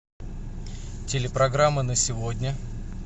телепрограмма на сегодня